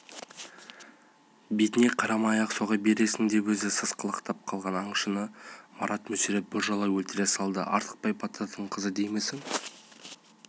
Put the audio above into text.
бетіне қарамай-ақ соға бересің де деп өзі сасқалақтап қалған аңшыны марат мүсіреп біржола өлтіре салды артықбай батырдың қызы деймісің